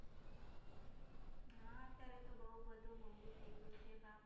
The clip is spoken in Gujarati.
હા અત્યારે તો બઉ બધું મોંઘું થઈ ગયું છે બાપા!